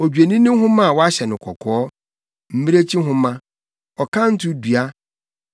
odwennini nhoma a wɔahyɛ no kɔkɔɔ, mmirekyi nhoma, ɔkanto dua,